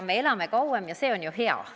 Me elame kauem ja see on ju hea!